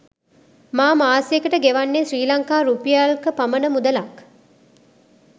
මා මාසයකට ගෙවන්නේ ශ්‍රී ලංකා රුපියල්ක පමණ මුදලක්